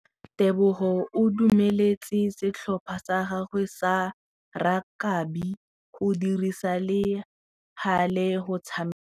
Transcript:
Tebogô o dumeletse setlhopha sa gagwe sa rakabi go dirisa le galê go tshameka.